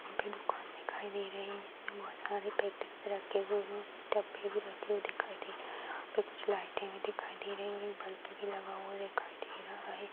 वहाॅं पे दुकान दिखाई दे रही है जिसमे बोहोत सारे पैकेट रखे हुए डब्बे भी रखे हुए दिखाई दे रहे हैं वहां पर कुछ लाइटे भी दिखाई दे रही हैं बल्ब भी लगा हुआ दिखाई दे रहा है।